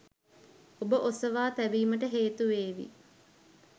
ඔබ ඔසවා තැබීමටහේතු වේවි